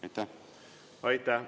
Aitäh!